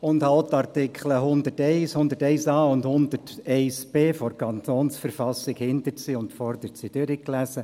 Ich habe auch die Artikel 101, 101a und 101b KV von hinten nach vorn durchgelesen.